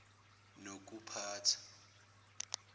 nokuphatha